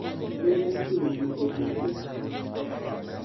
olunga motimo gimapok notim